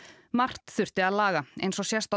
margt þurfti að laga eins og sést á